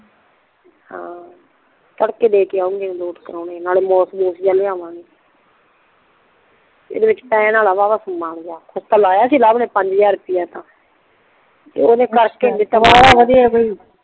ਹਾਂ ਤੜਕੇ ਦੇ ਕੇ ਆਊਗੀ ਲਾੱਟ ਕਰੋਣ ਨਾਲੇ ਲਿਆਵਗੇ ਏਡੇ ਵਿੱਚ ਪੈਣ ਵੱਲ ਵਾ ਵਾ ਸਮਾਂ ਜੀਆ ਲਾਇਆ ਸੀ ਲਵ ਨੇ ਪੰਜ ਹਜ਼ਾਰ ਰੁੱਪਈਆ